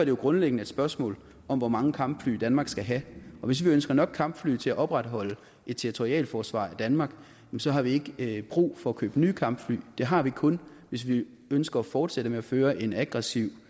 jo grundlæggende et spørgsmål om hvor mange kampfly danmark skal have og hvis vi ønsker nok kampfly til at opretholde et territorialforsvar i danmark har vi ikke brug for at købe nye kampfly det har vi kun hvis vi ønsker at fortsætte med at føre en aggressiv